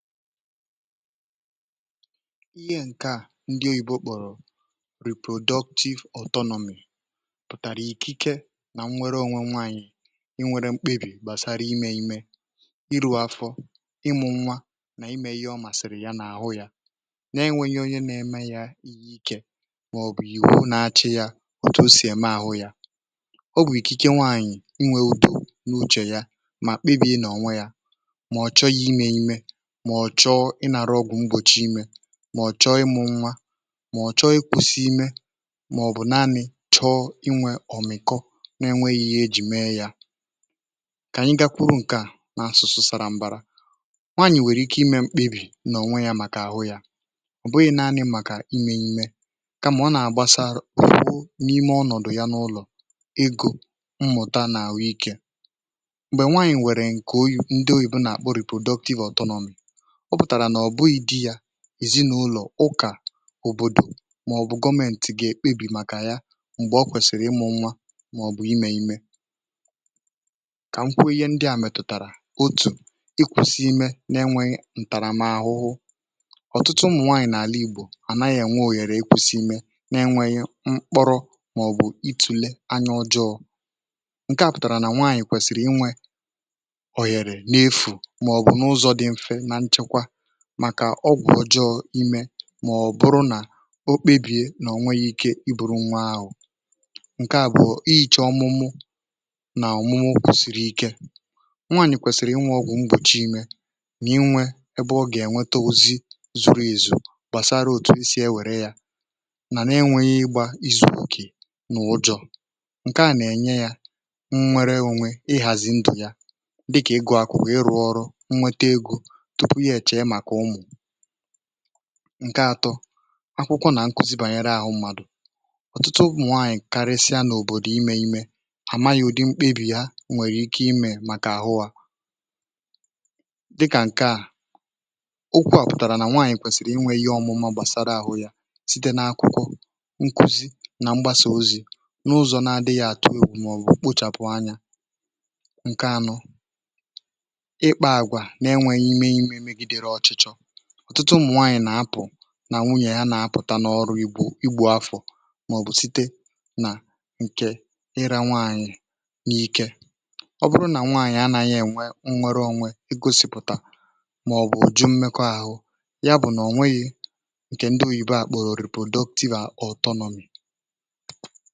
ihe ǹke a um ndị oyibo kpọrọ productive autonomy pụtàrà ikike nà nnwere onwe nwaanyị̀ inwere mkpịbì gbàsara imė imė ịrụ̇ afọ ịmụ̇ nwa nà imė yȧ ọ màsị̀rị̀ yȧ n’àhụ yȧ na-enweghi onye nȧ-eme yȧ ihe ikė mà ọ̀ bụ̀ ìhù na-achị̇ yȧ ọ̀tụ o sì ème àhụ yȧ ọ bụ̀ ikike nwaanyị̀ inwe udo n’uchè ya um mà kpịbì ị nọ̀ onwe yȧ mọ̀chọ ịnàrọ̇ ọgwụ̀ m̀gbòchi imė mọ̀chọ ịmụ̇ nwa mọ̀chọ ịkwụ̇sị̇ imė mà ọ̀ bụ̀ naanị̇ chọọ ịnwė ọ̀mị̀kọ n’enwėghi ya ejì mee yȧ um kà ànyị gakwuru ǹkè a n’asụ̀sụ sàrà m̀bàrà nwaànyị̀ nwèrè ike ịmė mkpebì n’ònwe yȧ màkà àhụ yȧ ọ̀ bụghị̇ naanị màkà ịmė ṁė um kamà ọ nà-àgbasàrụ bue n’ime ọnọ̀dụ ya n’ụlọ̀ ịgọ̇ mmụ̀ta nà àhụ ikė m̀gbè nwaànyị̀ nwèrè ǹkè oyi̇ ndị oyìbu nà-àkpọrụ i productive autonomy ǹzinụlọ̀, ụkà, òbòdò màọ̀bụ̀ gọmentì gà-ekpebì màkà ya m̀gbè o kwèsìrì ịmụ̇ nwa màọ̀bụ̀ imė imė kà m kwụ ihe ndị à mètụ̀tàrà otù ịkwụ̇sị imė n’enwėghi̇ ǹtàràmahụhụ ọ̀tụtụ ụmụ̀ nwaanyị̀ n’àla ìgbò à naghị̇ ènwe òhèrè ịkwụ̇sị imė n’enwėghi̇ mkpọrọ màọ̀bụ̀ itùle anya ọjọọ ǹke à pụtàrà nà nwaanyị̀ kwèsìrì ịnwė màkà ọgwụ̀ ọjọọ imė um mà ọ̀ bụrụ nà okpebìe nà onweghị̇ ike iburu nwa ahụ̀ ǹkè à bụ̀ọ ihi̇chọ̇ ọmụmụ nà ọ̀mụmụ okwùsìrì ike nwànyị̀ kwèsìrì inwė ọgwụ̀ mgbòchi imė nà inwė ebe ọ gà-ènweta ozi zuru èzù gbàsara òtù isi ewère yȧ nà n’enweghị igbȧ izù kù nà ụjọ̇ ǹkè a nà-ènye yȧ nwere onwe ịhàzì ndù ya dịkà egȯ, akwụ̀kwà, ịrụ̇ ọrụ ǹke atọ, akwụkwọ nà nkuzi bànyere àhụ mmadụ̀ ọ̀tụtụ nwaànyị̀ karịsịa n’òbòdò imė imė àmaghị̇ ụ̀dị mkpebì ha nwèrè ike imė màkà àhụ à dịkà ǹke à okwu̇ à pụ̀tàrà nà nwaànyị̀ kwèsìrì inwėghi̇ ọmụmụ gbàsara àhụ yȧ site n’akwụkwọ nkuzi nà mgbasà ozi̇ n’ụzọ̀ na-adịghị̇ àtụ egwù um màọbụ̀ kpochàpụ anya ǹke anọ ọ̀tụtụ ụmụ̀ nwaànyị̀ nà-apụ̀ nà nwunyè ya na-apụ̀ta n’ọrụ igbù igbù afọ̀ màọ̀bụ̀ site nà ǹkè irȧ nwaànyị̀ n’ike ọ bụrụ nà nwaànyị̀ anà ihe nnwere onwe e gosịpụ̀tà maọ̀bụ jụọ mmekọ ahụ ya bụ, na ọ nweghị nke ndị oyibo kpọrọ oripodoktiva ọtọ nọọmì.